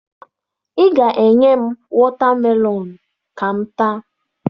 Ị ga-enye m wọta melọn ka m taa